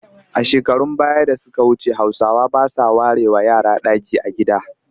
A shekarun baya da suka wuce Hausawa ba sa warewa yara ɗaki a gida